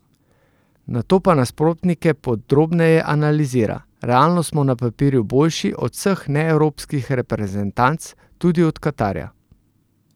Nato pa nasprotnike podrobneje analizira: "Realno smo na papirju boljši od vseh neevropskih reprezentanc, tudi od Katarja.